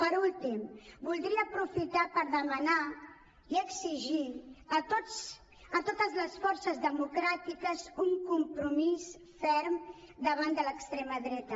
per últim voldria aprofitar per demanar i exigir a totes les forces democràtiques un compromís ferm davant de l’extrema dreta